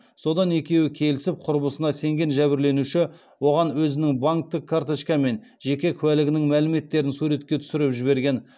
содан екеуі келісіп құрбысына сенген жәбірленуші оған өзінің банктік карточка мен жеке куәлігінің мәліметтерін суретке түсіріп жіберген